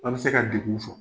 An bɛ se ka degun sɔrɔ.